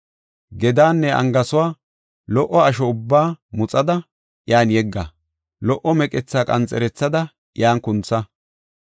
Gedaanne angaasuwa, lo77o asho ubbaa muxada, iyan yegga; lo77o meqethaa qanxerethada iyan kuntha.